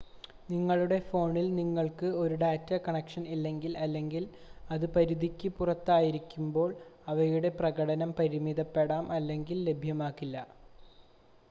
നിങ്ങളുടെ ഫോണിൽ നിങ്ങൾക്ക് ഒരു ഡാറ്റ കണക്ഷൻ ഇല്ലെങ്കിൽ അല്ലെങ്കിൽ അത് പരിധിക്ക് പുറത്തായിരിക്കുമ്പോൾ അവയുടെ പ്രകടനം പരിമിതപ്പെടാം അല്ലെങ്കിൽ ലഭ്യമാകില്ല